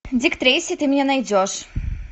дик трейси ты меня найдешь